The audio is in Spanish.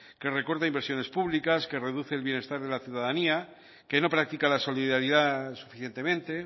que recorta inversiones públicas que reduce el bienestar de la ciudadanía que no practica la solidaridad suficientemente